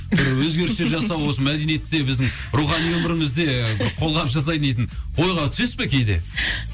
бір өзгерістер жасау осы мәдениетте біздің рухани өмірімізде бір қолғабыс жасайтын дейтін ойға түсесіз ба кейде